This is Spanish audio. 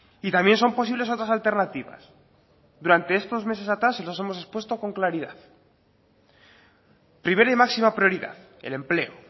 y también son posibles otras alternativas durante estos meses atrás y los hemos expuesto con claridad primera y máxima prioridad el empleo